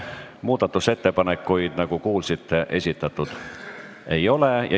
Muudatusettepanekuid, nagu kuulsite, esitatud ei ole.